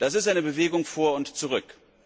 Das ist eine Bewegung vor und zurück.